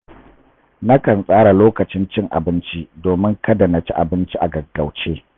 Na kan tsara lokacin cin abinci domin kada na ci abinci a gaggauce.